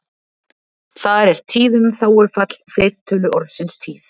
Þar er tíðum þágufall fleirtölu orðsins tíð.